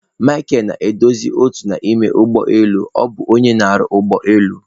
Micheal nọ na-edozi otu n'ime ụgbọ elu ọ bụ onye ọrụ ụgbọ elu.